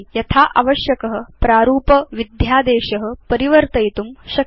यथा आवश्यक प्रारूपविध्यादेश परिवर्तयितुं शक्य